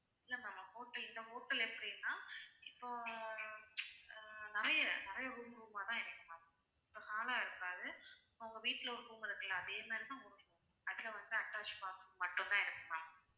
இல்ல ma'am hotel இந்த hotel எப்படின்னா இப்போ ஆஹ் நிறைய நிறைய room room ஆ தான் இருக்கும் ma'am இப்ப hall ஆ இருக்காது உங்க வீட்ல ஒரு room இருக்கும்ல்ல அதே மாதிரி தான் அதுல வந்து attach bath room மட்டும் தான் இருக்கும் ma'am